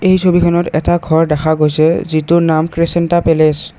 এই ছবিখনত এটা ঘৰ দেখা গৈছে যিটোৰ নাম কৃচেন্টা পেলেচ ।